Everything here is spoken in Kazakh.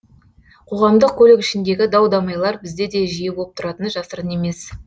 қоғамдық көлік ішіндегі дау дамайлар бізде де жиі болып тұратыны жасырын емес